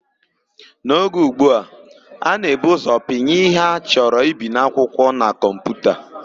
N'oge ụgbu a, a na-ebu ụzọ pinye ihe a chọrọ ibi n'akwụkwọ na kọmputa.